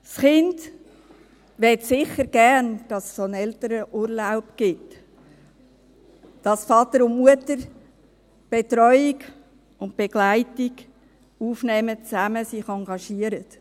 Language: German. Das Kind möchte sicher gerne, dass es einen Elternurlaub gibt, dass Vater und Mutter die Betreuung und Begleitung zusammen aufnehmen und sich zusammen engagieren.